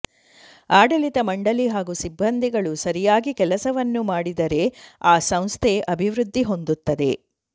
ಆಡಳಿತ ಮಂಡಳಿ ಹಾಗೂ ಸಿಬ್ಬಂದಿಗಳು ಸರಿಯಾಗಿ ಕೆಲಸವನ್ನು ಮಾಡಿದರೆ ಆ ಸಂಸ್ಥೆ ಅಭಿವೃದ್ದಿ ಹೊಂದುತ್ತದೆ